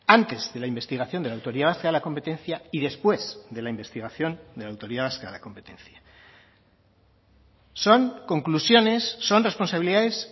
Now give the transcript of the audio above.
antes de la investigación de la autoridad vasca de la competencia y después de la investigación de la autoridad vasca de la competencia son conclusiones son responsabilidades